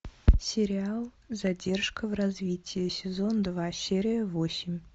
сериал задержка в развитии сезон два серия восемь